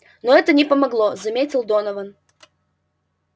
но это не помогло заметил донован